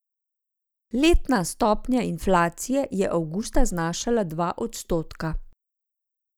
Letna stopnja inflacije je avgusta znašala dva odstotka.